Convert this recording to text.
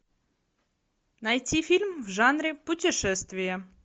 найти фильм в жанре путешествия